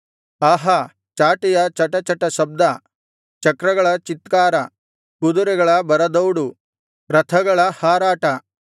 ಆಹಾ ಚಾಟಿಯ ಚಟಚಟ ಶಬ್ದ ಚಕ್ರಗಳ ಚೀತ್ಕಾರ ಕುದುರೆಗಳ ಭರಧೌಡು ರಥಗಳ ಹಾರಾಟ